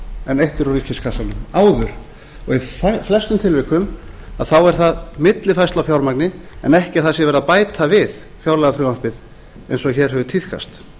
en eytt er úr ríkiskassanum og í flestum tilvikum þá er það millifærsla á fjármagni en ekki að það sé verið að bæta við fjárlagafrumvarpið eins og hér hefur tíðkast